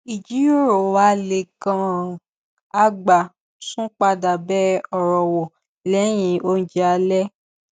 ìjíròrò wá le gan-an a gbà tún padà bẹ ọ̀rọ̀ wò lẹ́yìn oúnjẹ alẹ́